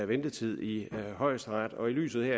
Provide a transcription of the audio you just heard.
ventetid i højesteret og i lyset